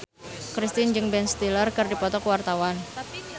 Kristina jeung Ben Stiller keur dipoto ku wartawan